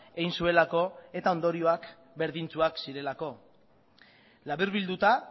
egin zuelako eta ondorioak berdintsuak zirelako laburbilduta